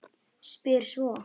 Spyr svo